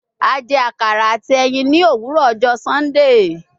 A jẹ akara ati ẹyin ni owurọ ọjọ Sundee